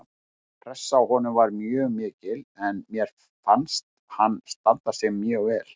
Pressan á honum var mjög mikil en mér fannst hann standa sig mjög vel